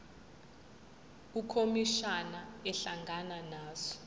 ukhomishana ehlangana nazo